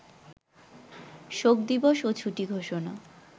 শোকদিবস ও ছুটি ঘোষণা